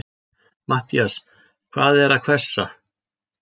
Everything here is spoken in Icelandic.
MATTHÍAS: Hann er að hvessa?